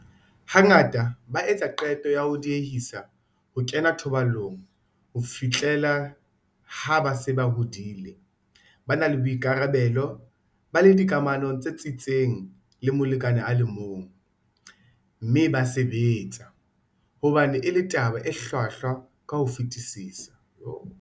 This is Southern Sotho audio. Hangata ba etsa qeto ya ho diehisa ho kena thobalanong ho fihlela ha ba se ba hodile, ba na le boikarabelo, ba le dikamanong tse tsitsitseng le molekane a le mong, mme ba sebetsa hobane e le taba e hlwahlwa ka ho fetisisa.